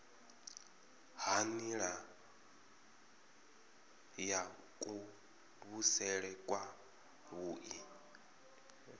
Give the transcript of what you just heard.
ha nila ya kuvhusele kwavhui